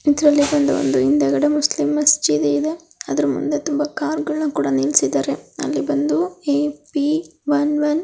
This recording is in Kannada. ಇದ್ರಲ್ಲಿ ಬಂದು ಒಂದು ಹಿಂದೆಗಡೆ ಮುಸ್ಲಿಮ್ ಮಸ್ಜಿಡಿ ಇದೆ. ಅದ್ರ ಮುಂದೆ ತುಂಬಾ ಕಾರ್ ಗಳನ್ನ ಕೂಡಾ ನಿಲ್ಸಿದ್ದಾರೆ. ಅಲ್ಲಿ ಬಂದು ಎ ಪಿ ಒನ್ ಒನ್ --